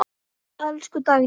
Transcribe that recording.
Elsku Dagný.